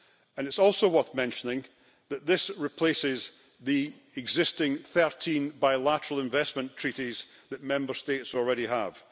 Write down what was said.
It is also worth mentioning that this replaces the existing 13 bilateral investment treaties that Member States already have.